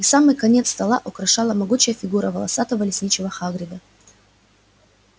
и самый конец стола украшала могучая фигура волосатого лесничего хагрида